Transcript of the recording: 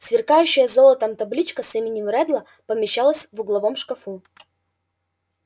сверкающая золотом табличка с именем реддла помещалась в угловом шкафу